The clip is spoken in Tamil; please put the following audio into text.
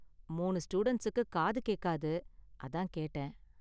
மூணு ஸ்டூடண்ட்ஸுக்கு காது கேக்காது. அதான் கேட்டேன்.